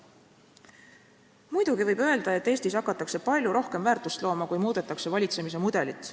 Muidugi võib öelda, et Eestis hakatakse palju rohkem väärtust looma, kui muudetakse valitsemise mudelit.